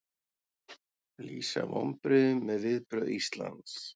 Lýsa vonbrigðum með viðbrögð Íslands